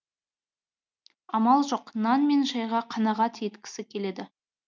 амал жоқ нан мен шайға қанағат еткісі келеді